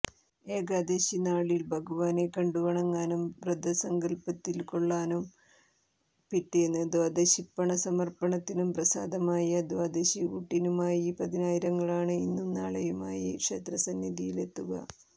ഏകാദശിനാളില് ഭഗവാനെ കണ്ടുവണങ്ങാനും വ്രതത്തില്പങ്കുകൊള്ളാനും പിറ്റേന്ന് ദ്വാദശിപ്പണസമര്പ്പണത്തിനും പ്രസാദമായ ദ്വാദശിഊട്ടിനുമായി പതിനായിരങ്ങളാണ് ഇന്നും നാളെയുമായി ക്ഷേത്രസന്നിയിലെത്തുക